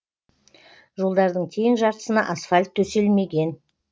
жолдардың тең жартысына асфальт төселмеген